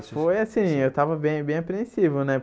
Ah, foi assim, eu tava bem bem apreensivo, né?